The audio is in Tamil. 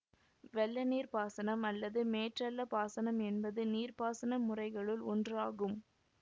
வெள்ளநீர்ப் பாசனம் அல்லது மேற்றளப் பாசனம் என்பது நீர்ப்பாசன முறைகளுள் ஒன்று ஆகும்